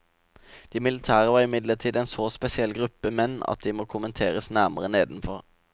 De militære var imidlertid en så spesiell gruppe menn at de må kommenteres nærmere nedenfor.